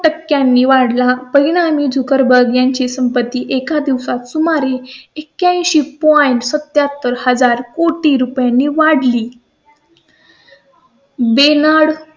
टक्क्यां नी वाढला. परिणामी झुकेरबर्ग यांची संपत्ती एका दिवसात तुम हारी एक्या ऐंशी पू आहे सत्यात्तर एक हजार कोटी रुपयांनी वाढली बेनार्ड